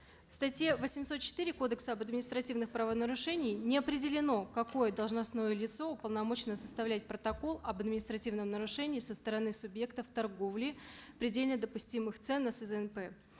в статье восемьсот четыре кодекса об административных правонарушениях не определено какое должностное лицо уполномочено составлять протокол об административном нарушении со стороны субъектов торговли предельно допустимых цен на сзнп